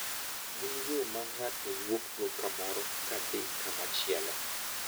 Gin yo ma ng`ato wuokgo kamoro kadhi kamachielo.